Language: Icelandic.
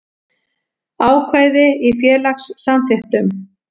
Ákvæði í félagssamþykktum.